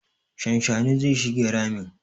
Shanshanin zai shige ramin.